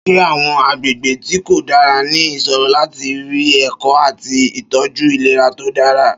Ṣé àwọn agbègbè tí kò dára ní ìṣòro láti rí ẹ̀kọ́ àti ìtọ́jú ìlera tó dára?